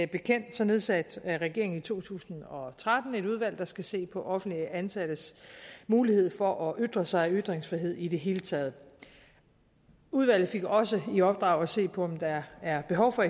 bekendt nedsatte regeringen i to tusind og tretten et udvalg der skal se på offentligt ansattes mulighed for at ytre sig ytringsfrihed i det hele taget udvalget fik også i opdrag at se på om der er behov for